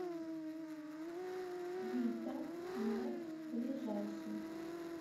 вита мед ближайший